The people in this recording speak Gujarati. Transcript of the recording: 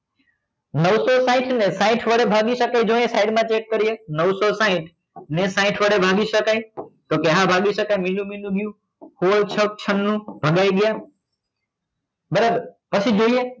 નવસો સાહીંઠ ને સાહીંઠ ને વડે ભાગી સકાય જો અહિયાં side માં check કરીએ નવસો સાહીંઠ ને સાહીંઠ વડે ભાગી સકાય તો કે હા ભાગી સકાય મીંડું મીંડું ગયું હોળ છંગ છનું ભાગાઈ ગયા બરાબર પછી જોઈએ